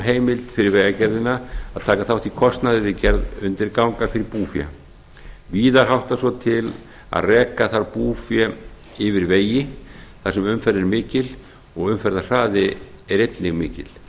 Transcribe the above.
heimild fyrir vegagerðina að taka þátt í kostnaði við gerð undirganga fyrir búfé víða háttar svo til að reka þarf búfé yfir vegi þar sem umferð er mikil og umferðarhraði er einnig mikill